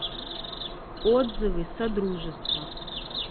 отзывы содружество